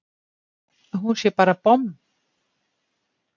Að hún sé bara bomm!